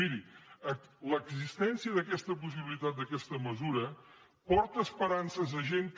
miri l’existència d’aquesta possibilitat d’aquesta me·sura porta esperances a gent que